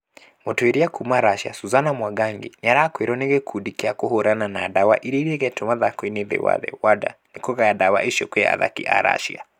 Mũtuĩria kuma Russia Susana Mwangangi nĩarekũĩrwo nĩ gĩkundi gĩa kũhũrana na dawa ĩrĩa iregetwo mathako-inĩ thĩiniĩ wa thĩ (WADA) nĩ kũgaya dawa icio kwĩ athaki a Russia